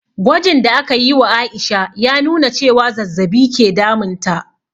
Gwajin da aka yi wa Aisha ya nuna cewa zazzabi ke damun ta